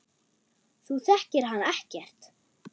Þú þekkir hann ekkert.